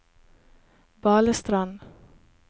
Balestrand